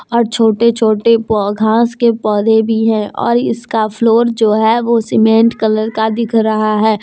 और छोटे छोटे घास के पौधे भी है और इसका फ्लोर जो है वो सीमेंट कलर का दिख रहा है।